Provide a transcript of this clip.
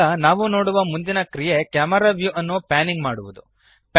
ಈಗ ನಾವು ನೋಡುವ ಮುಂದಿನ ಕ್ರಿಯೆ ಕ್ಯಾಮೆರಾ ವ್ಯೂ ಅನ್ನು ಪ್ಯಾನಿಂಗ್ ಮಾಡುವದು